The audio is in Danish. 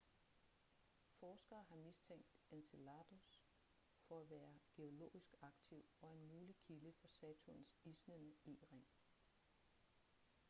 forskere har mistænkt enceladus for at være geologisk aktiv og en mulig kilde for saturns isnende e-ring